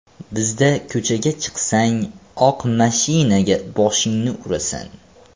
Bizda ko‘chaga chiqsang, oq mashinaga boshingni urasan.